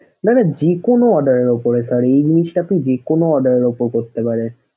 না না যেকোনো order এর উপরে sir এই জিনিসটা আপনি যেকোনো order এর উপর করতে পারবেন।